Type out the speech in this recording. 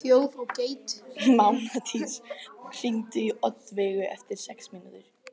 Mánadís, hringdu í Oddveigu eftir sex mínútur.